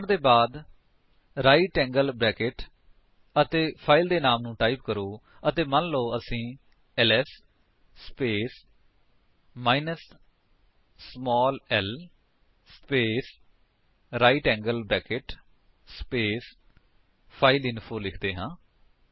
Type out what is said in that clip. command ਦੇ ਬਾਅਦ right angle bracket ਅਤੇ ਫਾਇਲ ਦੇ ਨਾਮ ਨੂੰ ਟਾਈਪ ਕਰੋ ਮੰਨ ਲੋ ਅਸੀ LS space minus small l space right angle bracket space file info ਲਿਖਦੇ ਹਾਂ